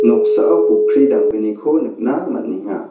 noksao pokkri damgniko nikna man·enga.